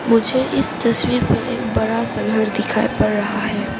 मुझे इस तस्वीर में एक बड़ा सा घर दिखाई पड़ रहा है।